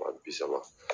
Wa bi saba